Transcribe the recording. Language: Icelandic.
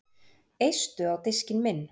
Eistu á diskinn minn